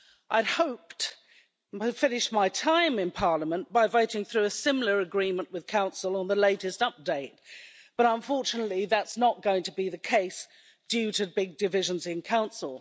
I had hoped by the time I had finished my time in Parliament to be voting through a similar agreement with Council on the latest update, but unfortunately that's not going to be the case due to big divisions in Council.